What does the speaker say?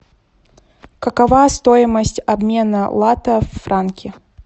какова стоимость обмена лата в франки